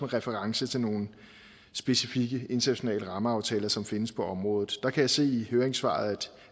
reference til nogle specifikke internationale rammeaftaler som findes på området der kan jeg se i høringssvaret